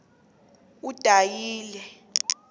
udanyeli